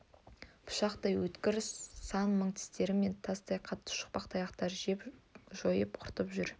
пышақтай өткір сан мың тістер мен тастай қатты шақпақ тұяқтар жеп жойып құртып жүр